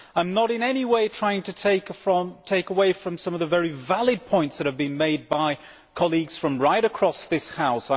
I am not in any way trying to take away from some of the very valid points that have been made by colleagues from right across this House.